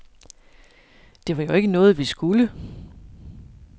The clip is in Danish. Det var jo ikke noget, vi skulle.